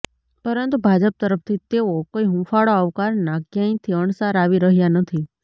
પરંતુ ભાજપ તરફથી તેવો કોઈ હૂંફાળો આવકારના કયાંયથી અણસાર આવી રહ્યા નથી